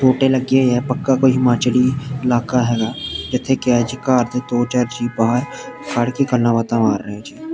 ਬੂਟੇ ਲੱਗੇ ਹੋਏ ਆ ਪੱਕਾ ਕੋਈ ਹਿਮਾਚਲੀ ਇਲਾਕਾ ਹੈਗਾ ਇੱਥੇ ਘਰ ਦੇ ਦੋ ਚਾਰ ਜੀ ਬਾਹਰ ਖੜ੍ਹ ਕੇ ਗੱਲਾਂ ਬਾਤਾਂ ਮਾਰ ਰਿਹਾ ਆ ।